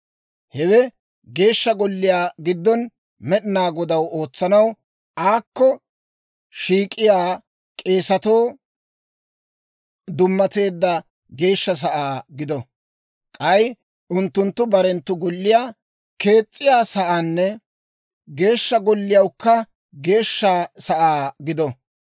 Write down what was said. Hewe Geeshsha Golliyaa giddon Med'inaa Godaw ootsanaw, aakko shiik'iyaa k'eesatoo dummateedda geeshsha sa'aa gido; k'ay unttunttu barenttu golliyaa kees's'iyaa saanne Geeshsha Golliyawukka geeshsha sa'aa gido.